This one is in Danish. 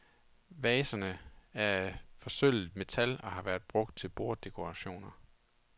Vaserne er af forsølvet metal og har været brugt til borddekorationer.